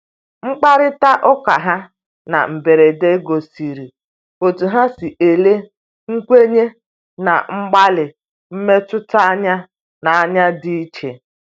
Mkparịta ụkaha na mberede gosiri otú ha si ele nkwenye na mgbalị mmetụta anya n’anya dị iche.